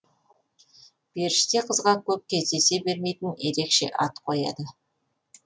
періште қызға көп кездесе бермейтін ерекше ат қояды